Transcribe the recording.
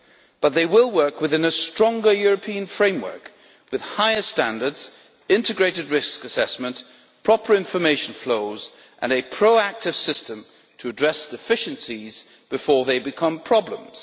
But they will work within a stronger European framework, with higher standards, integrated risk assessment, proper information flows and a proactive system to address deficiencies before they become problems.